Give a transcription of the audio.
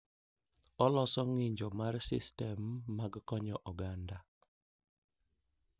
Oloso ng’injo mar sistem mag konyo oganda.